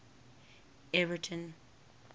everton